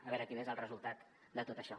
a veure quin és el resultat de tot això